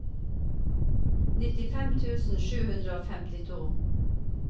nittifem tusen fire hundre og femtito